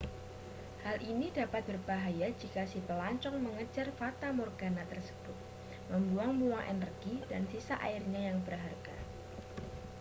hal ini dapat berbahaya jika si pelancong mengejar fatamorgana tersebut membuang-buang energi dan sisa airnya yang berharga